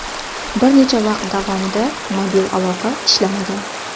Bir necha vaqt davomida mobil aloqa ishlamagan.